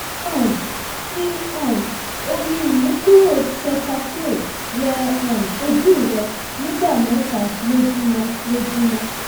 um fi um omi imukuro cetaphil wẹ um ojú rẹ nígbà mẹta lójúmọ lójúmọ